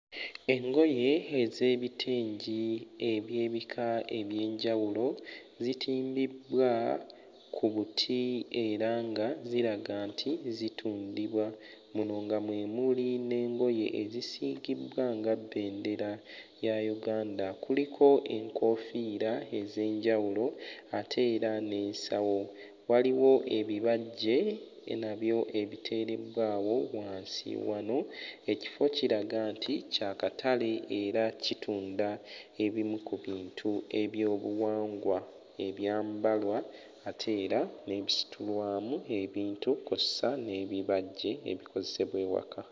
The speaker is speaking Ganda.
Engoye ez'ebitengi eby'ebika eby'enjawulo zitimbibbwa ku buti era nga ziraga nti zitundibwa, muno nga mwe muli n'engoye ezisiigiddwa nga bendera ya Uganda. Kuliko enkoofiira ez'enjawulo ate era n'ensawo, waliwo ebibajje nabyo ebiteereddwawo wansi wano. Ekifo kiraga nti kya katale era kitunda ebimu ku bintu ebyobuwangwa ebyambalwa ate era n'ebisitulwamu ebintu kw'ossa n'ebibajje ebikozesebwa ewaka.